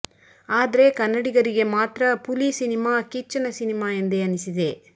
ಆದ್ರೆ ಕನ್ನಡಿಗರಿಗೆ ಮಾತ್ರ ಪುಲಿ ಸಿನಿಮಾ ಕಿಚ್ಚನ ಸಿನಿಮಾ ಎಂದೇ ಅನಿಸಿದೆ